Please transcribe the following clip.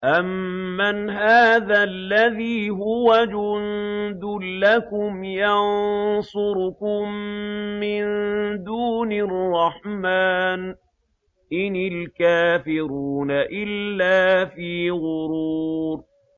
أَمَّنْ هَٰذَا الَّذِي هُوَ جُندٌ لَّكُمْ يَنصُرُكُم مِّن دُونِ الرَّحْمَٰنِ ۚ إِنِ الْكَافِرُونَ إِلَّا فِي غُرُورٍ